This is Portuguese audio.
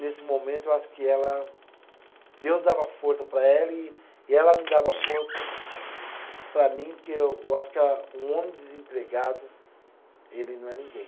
Nesse momento, eu acho que ela. Deus dava força para ela e, e ela me dava força para mim, porque eu acho que a, um homem desempregado, ele não é ninguém.